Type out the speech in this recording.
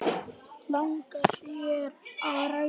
Langar þér að ræða það?